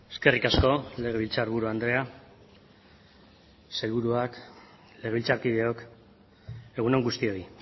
eskerrik asko legebiltzarburu andrea sailburuak legebiltzarkideok egun on guztioi